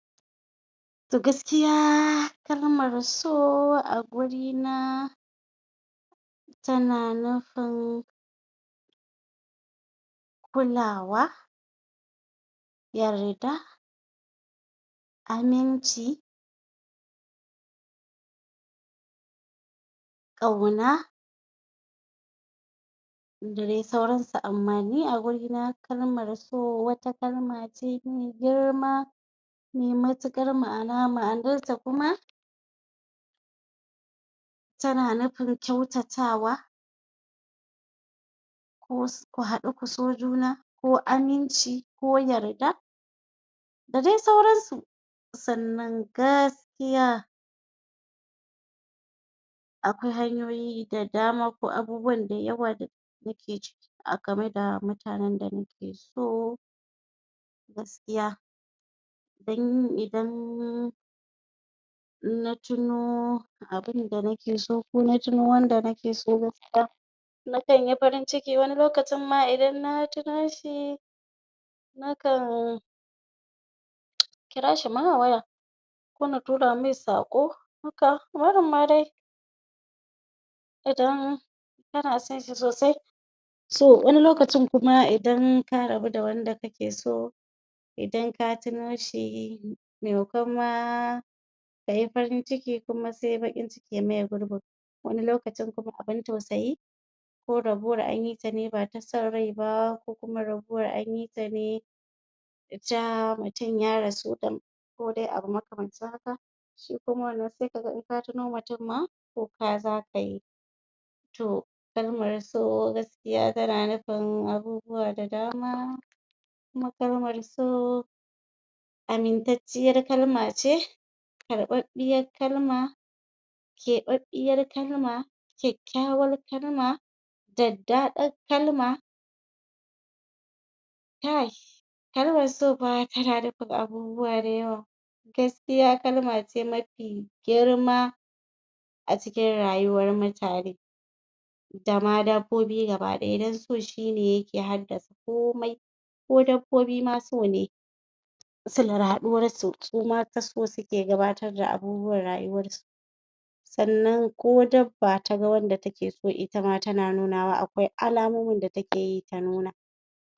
To gaskiya kalmar so a gurina tana nufin kulawa yarda aminci ƙauna da dai sauransu amma ni a guri na kalmar so wata kalma ce me girma me matuƙar ma'ana ,ma'anarta kuma tana nufin kyautatawa ko ku haɗu ku so juna ko aminci ko yarda da dai sauransu sannan gaskiya akwai hanyoyi da dama ko abubuwan da yawa da nake ciki a game da mutanen da nake so gaskiya dan idan inna tuno abinda nake so ko na tuno wanda nake so gaskiya nakanyi farin ciki wani lokcin ma idan na tino shi nakan kira shi ma a waya kona tura mai saƙo haka barinma dai idan kana sonshi sosai to wani lokacin kuma idan ka rabo da wanda kake so idan ka tuno shi memakon ma kayi farin ciki se baƙin ciki ya maye gurbin wani lokacin kuma abin tausayi ko rabuwar anyi ta ne bata san rai ba ko kuma rabuwar anyi tane ta mutum ya rasu da kodai abu makamantan haka shi kuma wannan in ka tuno mutum ma kuka zakayi to kalmar so gaskiya tana nufin abubuwa da dama kuma kalmar so amintacciyar kalma ce ruɓaɓɓiyar kalma keɓaɓɓiyar kalma kyakkyawar kalma daddaɗar kalma kai kalmar so fa tana nufin abubuwa da yawa gaskiya kalma ce mafi girma a cikin rayuwar mutane dama dabbobi gaba ɗaya don so shine yake haɗa komai ko dabbobi ma sone silar haɗuwarsu suma ta so suke gabatar da abubuwan rayuwar su sannan ko dabba taga wanda take so itama tana nunawa akwai alamomin da takeyi ta nuna